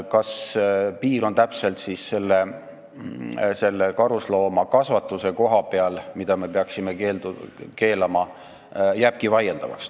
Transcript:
Kas piir on täpselt karusloomakasvatuse koha peal, mille me peaksime keelustama, jääbki vaieldavaks.